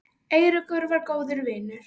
Eiríkur var góður vinur.